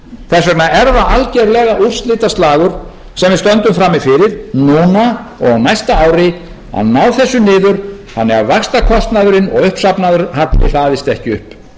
þess vegna er það algjörlega úrslitaslagur sem við stöndum frammi fyrir núna og á næsta ári að ná þessu niður þannig að vaxtakostnaðurinn og uppsafnaður halli hlaðist ekki upp